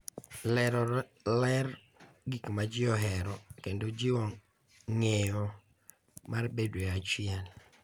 Lero ler gik ma ji ohero, kendo jiwo ng’eyo mar bedo e achiel.